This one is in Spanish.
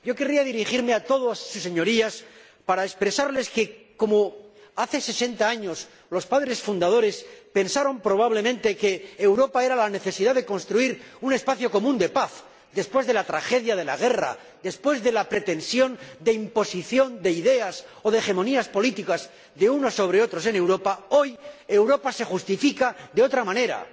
Yo querría dirigirme a todas Sus Señorías para expresarles que, si hace sesenta años los padres fundadores pensaron probablemente que Europa era la necesidad de construir un espacio común de paz después de la tragedia de la guerra, después de la pretensión de imposición de ideas o de hegemonías políticas de unos sobre otros en Europa, hoy Europa se justifica de otra manera.